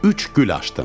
Üç gül açdım.